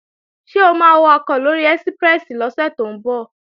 Ṣé o máa wakọ̀ lóri ẹ́síprẹ́sì lọ́sẹ̀ tó ń bọ̀?